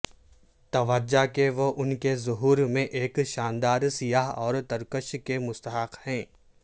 توجہ کے وہ ان کے ظہور میں ایک شاندار سیاہ اور ترکش کے مستحق ہیں